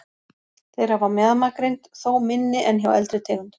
Þeir hafa mjaðmagrind, þó minni en hjá eldri tegundum.